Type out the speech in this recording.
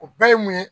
O bɛɛ ye mun ye